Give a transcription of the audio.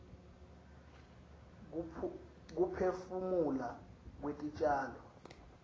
kuphefumula kwetitjalo